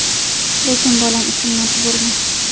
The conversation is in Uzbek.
Lekin bolam uchun majburman.